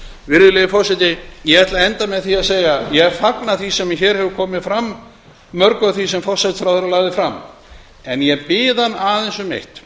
virðulegi forseti ég ætla að enda á því að segja að ég fagna mörgu af því sem forsætisráðherra lagði fram en ég bið hann aðeins um eitt